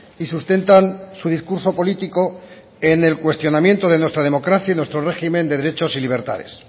y sustentan su discurso político en el cuestionamiento de nuestra democracia y nuestro régimen de derechos y libertades